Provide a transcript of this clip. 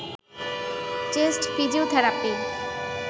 chest physiotherapy